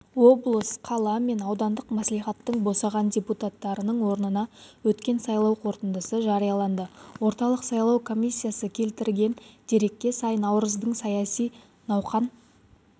облыс қала мен аудандық мәслихаттың босаған депутаттарының орнына өткен сайлау қорытындысы жарияланды орталық сайлау комиссиясы келтірген дерекке сай наурыздың саяси науқан